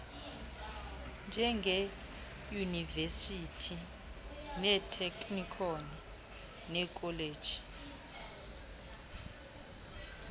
njengeeyunivesithi iiteknikhoni neekholeji